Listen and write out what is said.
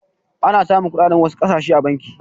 Ana samun kuɗaɗen wasu ƙasashe a banki.